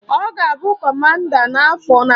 Ọ ga-abụ Kọmanda n-afọ n'abịa.